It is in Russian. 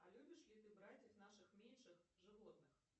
а любишь ли ты братьев наших меньших животных